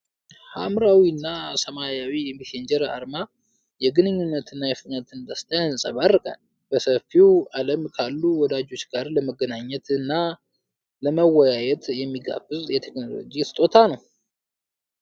ሐምራዊና ሰማያዊው የሜሴንጀር አርማ የግንኙነትንና የፍጥነትን ደስታ ያንጸባርቃል ። በሰፊው ዓለም ካሉ ወዳጆች ጋር ለመገናኘትና ለመወያየት የሚጋብዝ የቴክኖሎጂ ስጦታ !